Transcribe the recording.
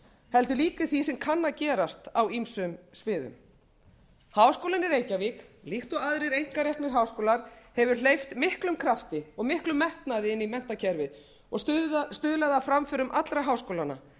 heldur líka í því sem kann að gerast á ýmsum sviðum háskólinn í reykjavík líkt og aðrir einkareknir háskólar hefur hleypt miklum krafti og miklum metnaði inn í menntakerfið og stuðlað að framförum allra háskólanna